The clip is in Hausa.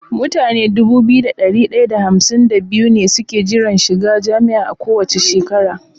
Mutane Dubu biyu da dari daya da hamsin da biyu ne suke jiran shiga jami'a kowace shekara